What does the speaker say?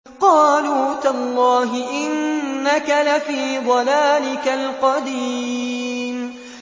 قَالُوا تَاللَّهِ إِنَّكَ لَفِي ضَلَالِكَ الْقَدِيمِ